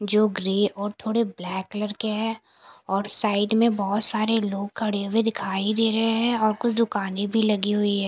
जो ग्रे और थोड़े ब्लैक कलर के हैं और साइड में बहुत सारे लोग खड़े हुए दिखाई दे रहे हैं और कुछ दुकानें भी लगी हुई हैं।